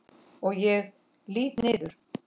Og ég lýt niður.